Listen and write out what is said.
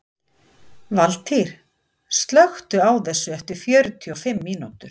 Valtýr, slökktu á þessu eftir fjörutíu og fimm mínútur.